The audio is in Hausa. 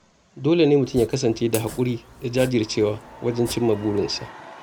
Dole ne mutum ya kasance da haƙuri da jajircewa wajen cimma burinsa.